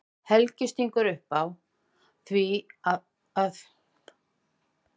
Helgi stingur upp á því að þau geri með sér kaupmála.